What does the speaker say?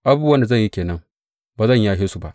Abubuwan da zan yi ke nan; ba zan yashe su ba.